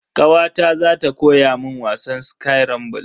Kawata za ta koya mun wasan skirambul.